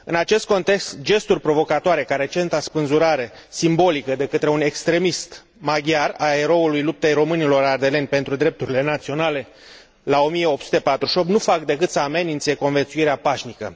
În acest context, gesturi provocatoare, ca recenta spânzurare simbolică de către un extremist maghiar a eroului luptei românilor ardeleni pentru drepturile naționale la 1848, nu fac decât să amenințe conviețuirea pașnică.